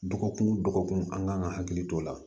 Dɔgɔkun o dɔgɔkun an kan ka hakili to o la